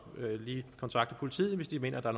lige kontakte politiet hvis de mener der